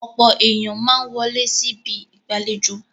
Ọ̀pọ̀ ènìyàn máa ń wọlé sí ibi ìgbàlejò.